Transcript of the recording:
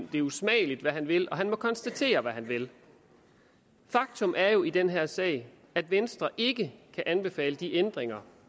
det usmageligt hvad han vil og han må konstatere hvad han vil faktum er jo i den her sag at venstre ikke kan anbefale de ændringer